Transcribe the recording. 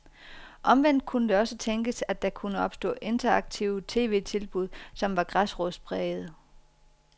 Omvendt kunne det også tænkes, at der kunne opstå interaktive tv-tilbud, som var græsrodsprægede.